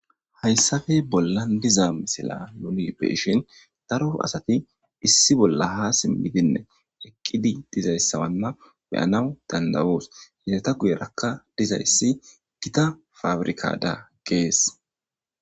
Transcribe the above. Haysappe bollan diza misila nun be'ishn daro asat issi bolla eqidinne ba sintha ha zarid eqid dizaysa beyanaw danda'os, eta guyeraka dizays Gita pabirkada ges.